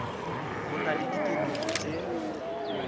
go na le diphetogo tse